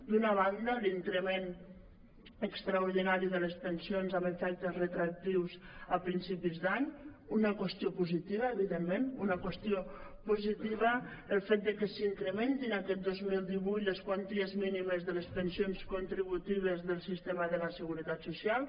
d’una banda l’increment extraordinari de les pensions amb efectes retroactius a principis d’any una qüestió positiva evidentment una qüestió positiva el fet que s’incrementin aquest dos mil divuit les quanties mínimes de les pensions contributives del sistema de la seguretat social